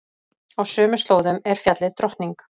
Á sömu slóðum er fjallið Drottning.